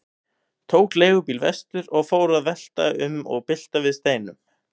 Tók leigubíl vestur og fór að velta um og bylta við steinum.